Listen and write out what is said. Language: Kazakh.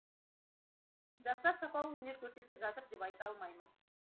жастар сапалы өнер көрсетіп жатыр деп айта алмаймын